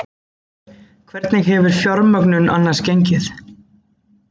Hvernig hefur fjármögnun annars gengið?